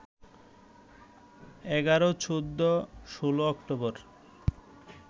১১, ১৪, ১৬ October